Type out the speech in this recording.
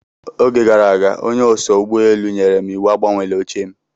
Oge gara aga onye oso ụgbọelu nyèrè m iwu agbanweela oche m.